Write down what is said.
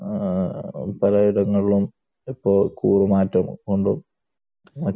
ആ പല ഇടങ്ങളിലും ഇപ്പോൾ കൂറ് മാറ്റം ഉണ്ട്.